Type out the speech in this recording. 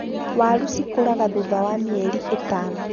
Waaru cikũraga thutha wa mĩeri ĩtano